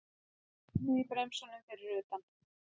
Ískrið í bremsunum fyrir utan.